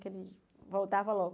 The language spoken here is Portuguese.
Que ele voltava logo.